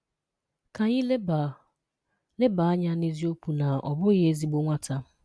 Ka anyị leba leba anya n'eziokwu na ọ bụghị ezigbo nwata.